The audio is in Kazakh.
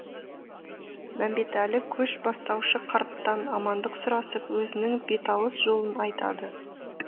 мәмбетәлі көш бастаушы қарттан амандық сұрасып өзінің беталыс жолын айтады